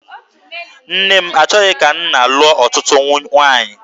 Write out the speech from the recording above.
Nne m achọghị ka nna lụọ ọtụtụ nwaanyị.